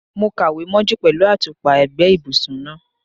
Mo kàwé mọ́jú pẹ̀lú àtùpà ẹ̀gbẹ́ ibùsùn náà.